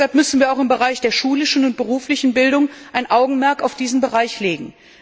Deshalb müssen wir auch im Bereich der schulischen und beruflichen Bildung ein Augenmerk auf diesen Bereich legen.